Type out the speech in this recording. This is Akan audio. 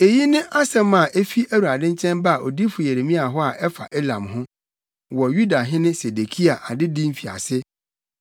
Eyi ne asɛm a, efi Awurade nkyɛn baa odiyifo Yeremia hɔ a ɛfa Elam ho, wɔ Yudahene Sedekia adedi mfiase: